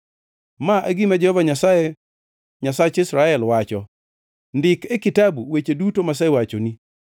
“Ma e gima Jehova Nyasaye, Nyasach Israel, wacho: ‘Ndik e kitabu weche duto masewachoni.’